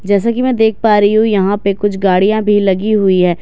जैसा कि मैं देख पा रही हूं यहां पे कुछ गाड़ियां भी लगी हुई है।